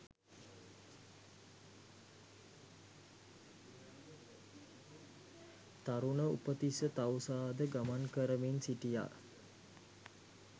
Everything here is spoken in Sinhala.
තරුණ උපතිස්ස තවුසාද ගමන් කරමින් සිටියා